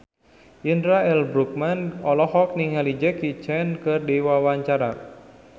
Indra L. Bruggman olohok ningali Jackie Chan keur diwawancara